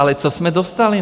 Ale co jsme dostali?